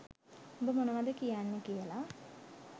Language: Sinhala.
උඹ මොනවද කියන්නේ කියලා